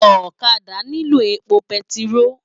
Òkàdá niló épó pètiró